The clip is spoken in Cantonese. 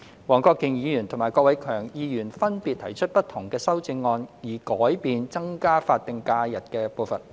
黃國健議員及郭偉强議員分別提出不同的修正案，以改變增加法定假日的步伐。